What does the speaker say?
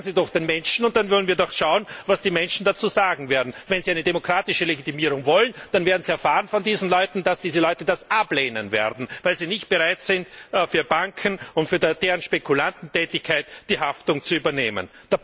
Sagen Sie das doch den Menschen, und dann wollen wir schauen, was die Menschen dazu sagen werden. Wenn Sie eine demokratische Legitimierung wollen, dann werden Sie von diesen Leuten erfahren, dass diese Leute das ablehnen, weil sie nicht bereit sind, für Banken und deren Spekulantentätigkeit die Haftung zu übernehmen.